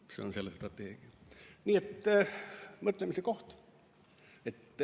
Nii et siin on mõtlemise koht.